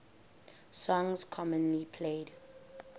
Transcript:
songs commonly played